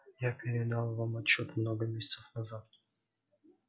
я передал вам отчёт много месяцев назад